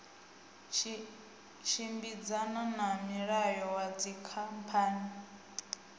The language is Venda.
tshimbidzana na mulayo wa dzikhamphani